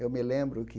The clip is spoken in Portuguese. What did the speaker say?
Eu me lembro que...